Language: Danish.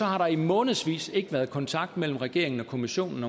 har der i månedsvis ikke været kontakt mellem regeringen og kommissionen